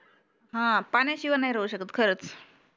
हा पाण्या शिवाय नाही राहू शकत खरंच